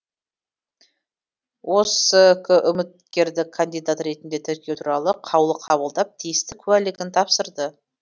оск үміткерді кандидат ретінде тіркеу туралы қаулы қабылдап тиісті куәлігін тапсырды